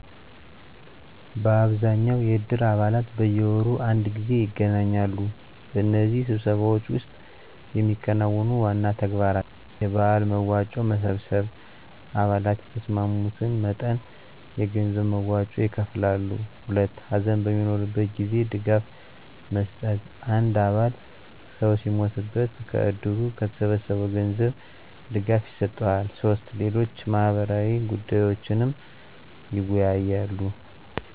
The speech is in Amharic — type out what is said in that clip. በአብዛኛው የእድር አባላት በየወሩ አንድ ጊዜ ይገናኛሉ። በእነዚህ ስብሰባዎች ውስጥ የሚከናወኑ ዋና ተግባራት: 1. የበዓል መዋጮ መሰብሰብ _አባላት የተስማሙትን መጠን የገንዘብ መዋጮ ይከፍላሉ። 2. ሀዘን በሚኖርበት ጊዜ ድጋፍ መስጠት _አንድ አባል ሰው ሲሞትበት ከእድሩ ከተሰበሰበው ገንዘብ ድጋፍ ይሰጠዋል። 3. ሌሎች ማህበራዊ ጉዳዮችንም ይወያያሉ።